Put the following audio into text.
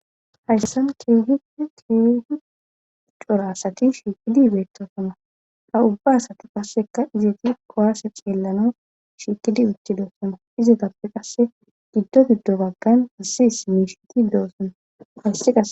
hayssan keehid keehi cora asati shiikidi beetosana ha ubba asati qasseka izati kowaase xeellano shiikidi uttidoosona izitappe qasse giddo giddo baggan hasis miishiti doossana hayssi qa